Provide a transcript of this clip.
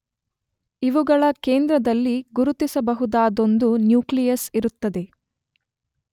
ಇವುಗಳ ಕೇಂದ್ರದಲ್ಲಿ ಗುರುತಿಸಬಹುದಾದೊಂದು ನ್ಯೂಕ್ಲಿಯಸ್ ಇರುತ್ತದೆ.